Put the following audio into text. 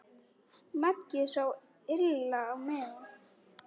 Maggi sá illa á miðann.